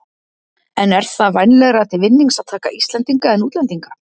En er það vænlegra til vinnings að taka Íslendinga en útlendinga?